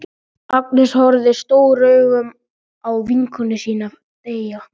Agnes horfir stórum augum á vinkonu sína.